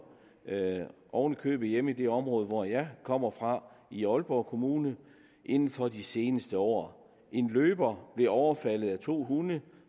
oven i købet hjemme i det område hvor jeg kommer fra i aalborg kommune inden for de seneste år en løber blev overfaldet af to hunde